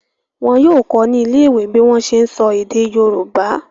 Wọ́n yóò kọ́ ọ ní ilé ìwé bí wọ́n ṣe ń sọ èdè yorùbá.